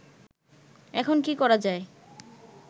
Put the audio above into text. এখন কি করা যায়